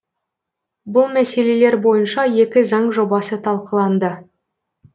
бұл мәселелер бойынша екі заң жобасы талқыланды